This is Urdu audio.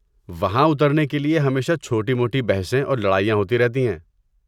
وہاں اترنے کے لیے ہمیشہ چھوٹی موٹی بحثیں اور لڑائیاں ہوتی رہتی ہیں۔